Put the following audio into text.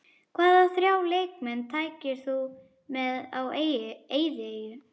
Hvaða þrjá leikmenn tækir þú með á eyðieyju?